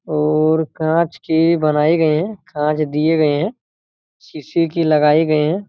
और कांच के बनाये गये है कांच दिये गए है सीसी की लगाई गई है।